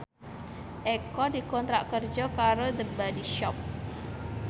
Eko dikontrak kerja karo The Body Shop